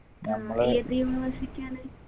ആ ഏത് university യാണ്